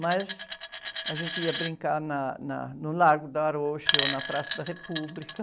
Mas a gente ia brincar na, na, no Largo da Arouche ou na Praça da República.